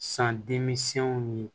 San denmisɛnw ni